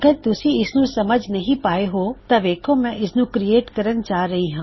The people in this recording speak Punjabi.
ਅਗਰ ਤੁਸੀਂ ਇਸਦੀ ਪਾਲਣਾ ਨਹੀ ਕਰੋਗੇ ਫੇਰ ਮੈਂ ਇਸੀ ਤਰੀਕੇ ਨਾਲ ਇਸਨੂੰ ਬਣਾਉਂਗਾ